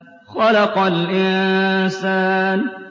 خَلَقَ الْإِنسَانَ